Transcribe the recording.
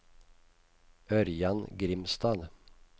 Ørjan Grimstad